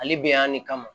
Ale bɛ yan de kama